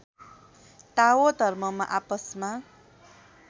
ताओ धर्ममा आपसमा